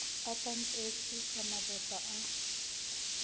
a tantetswe ka mabota a